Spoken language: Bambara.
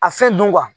A fɛn dun